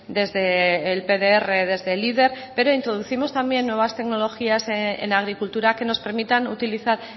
desde el pdr desde pero introducimos también nuevas tecnologías en agricultura que nos permitan utilizar